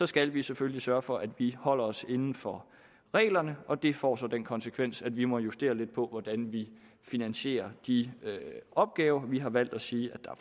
skal vi selvfølgelig sørge for at vi holder os inden for reglerne og det får så den konsekvens at vi må justere lidt på hvordan vi finansierer de opgaver vi har valgt at sige at der